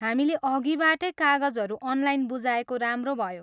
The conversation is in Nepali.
हामीले अघिबाटै कागजहरू अनलाइन बुझाएको राम्रो भयो।